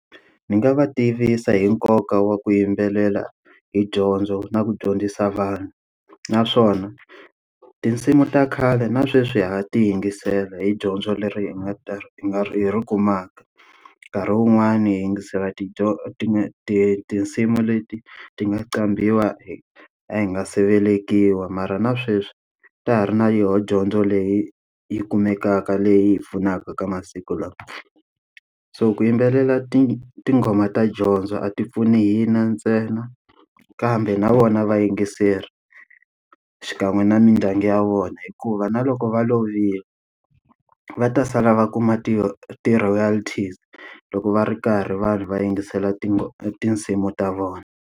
Ndzi nga va tivisa hi nkoka wa ku yimbelela hi dyondzo na ku dyondzisa vanhu. Naswona, tinsimu ta khale na sweswi ha ha ti yingisela hi dyondzo leri nga ta ri hi nga ri hi ri kumaka. Nkarhi wun'wani hi yingisela tinsimu leti ti nga qambhiwa a hi nga se velekiwa mara na sweswi ta ha ri na yoho dyondzo leyi yi kumekaka leyi hi pfunaka ka masiku lawa. So ku yimbelela tinghoma ta dyondzo a ti pfuni hi na ntsena. kambe na vona vayingiseri, xikan'we na mindyangu ya vona. Hikuva na loko va lovile, va ta sala va kuma ti-royalties loko va ri karhi vanhu va yingisela tinsimu ta vona.